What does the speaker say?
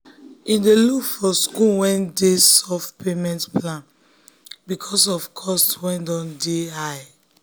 him dey look for school wey dey give soft payment plan because of cost wey dun dey dun dey high.